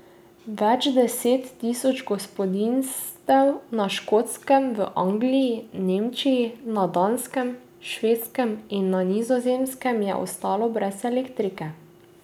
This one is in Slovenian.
Več deset tisoč gospodinjstev na Škotskem, v Angliji, Nemčiji, na Danskem, Švedskem in Nizozemskem je ostalo brez elektrike.